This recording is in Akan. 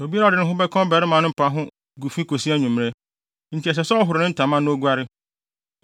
Obiara a ɔde ne ho ka ɔbarima no mpa ho gu fi kosi anwummere, enti ɛsɛ sɛ ɔhoro ne ntama na oguare.